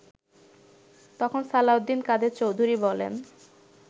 তখন সালাহউদ্দিন কাদের চৌধুরী বলেন